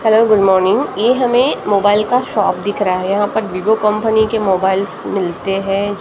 Hello good morning ये हमें mobile का शॉप दिख रहा है यहां पर वीवो कंपनी के मोबाइल्स मिलते हैं।